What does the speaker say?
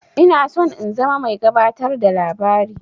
Ina son in zama mai gabatar da labari.